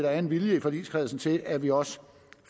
er en vilje i forligskredsen til at vi også